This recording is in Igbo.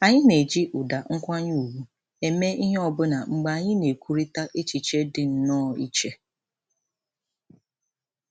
Anyị na-eji ụda nkwanye ùgwù eme ihe ọbụna mgbe anyị na-ekwurịta echiche dị nnọọ iche